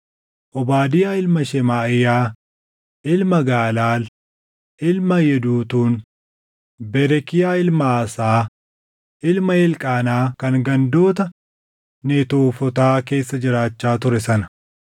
Obaadiyaa ilma Shemaaʼiyaa, ilma Gaalaal, ilma Yeduutuun; Berekiyaa ilma Aasaa, ilma Elqaanaa kan gandoota Netoofotaa keessa jiraachaa ture sana.